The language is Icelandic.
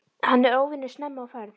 Hann er óvenju snemma á ferð.